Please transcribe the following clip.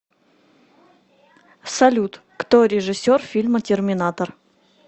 салют кто режиссер фильма терминатор